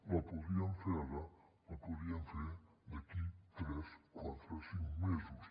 la podrien fer ara la podrien fer d’aquí tres quatre cinc mesos